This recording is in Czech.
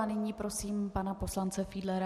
A nyní prosím pana poslance Fiedlera.